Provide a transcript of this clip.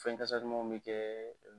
Fɛn kasa dumanw bɛ kɛ